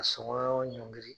Ka sɔngɔ ɲɔngiri